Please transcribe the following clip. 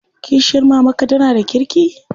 Kishiyar mamarka tana da kirki?